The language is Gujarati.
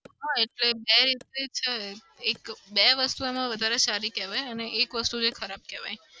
હા એટલે બે રીતે જ એક એટલે બે વસ્તુ વધારે સારી કેવાય અને એક વસ્તુ ખરાબ કેવાય.